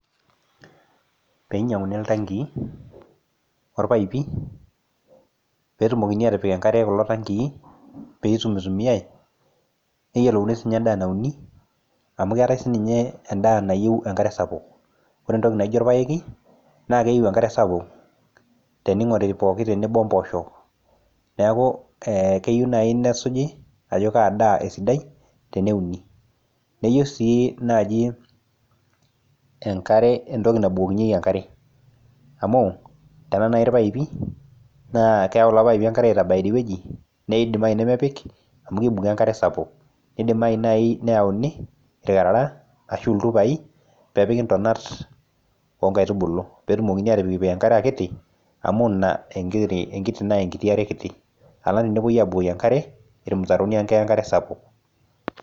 Pee einyianguni iltankii o irpaipi pee etumokini aatipik kulo tankii pee eitumitumiai amu keetae sininye endaa nayieu enkare sapuk. Ore entoki naijo irpaek naa keyieu enkare sapuk o mpoosho neaku keyieu niyolouni ajo kaa daa esidai. Eyieu sii naaji neingoruni ewueji nepiki enkare amutenaa naaji irpaipi naa Keya enkare aitabaya nedimayu nemepik naa kimin enkare sapuk neaku keyieu neyauni irkarara aashu irpaipi pee epiki ntonat oo nkaitubulu pee ejing enkare kiti alang tenebukokini enkare amu keibukori enkare sapuk.